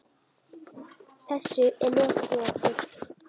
Þessu er lokið hjá okkur.